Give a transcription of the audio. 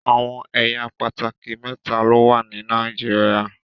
Awọn ẹya pátákì méta lọwọ ni Nàìjíríà